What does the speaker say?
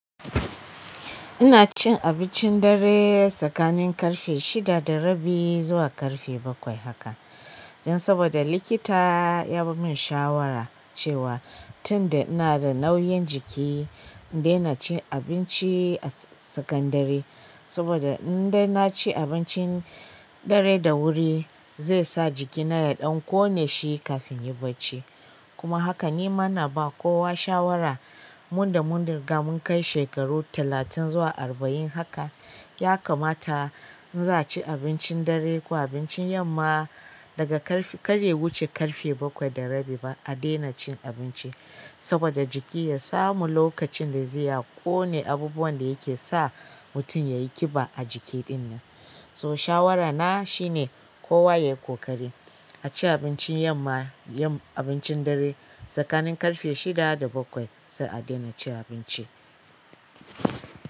Ina cin abincin dare tsakanin ƙarfe shida da rabi zuwa ƙarfe bakwai haka. Don saboda likita ya bar min shawara cewa tun da ina da nauyin jiki in daina cin abinci a sakandare. Saboda in dai na ci abincin dare da wuri zai sa jikina ya ɗan ƙone shi kafin in yi bacci. Kuma haka ni ma ina baws kowa shawara, mun da mun riga mun kai shekaru talatin zuwa arba'in haka ya kamata in za a ci abincin dare ko abincin yamma daga ƙarfe-- karya wuce ƙarfe bakwai da rabi ba a daina cin abinci. Saboda jiki ya samu lokacin da zai ya ƙone abubuwan da yake sa mutum ya yi ƙiba a jiki ɗinnan. So shawarana shine kowa ya yi ƙoƙari a ci abincin yamma, yin abincin dare tsakanin ƙarfe shida da bakwai sai a daina cin abinci.